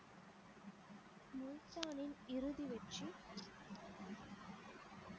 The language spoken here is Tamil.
முல்தானின் இறுதி வெற்றி